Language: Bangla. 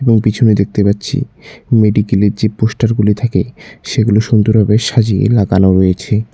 এবং পিছনে দেখতে পাচ্ছি মেডিকেলের যে পোস্টারগুলি থাকে সেগুলো সুন্দরভাবে সাজিয়ে লাগানো রয়েছে ।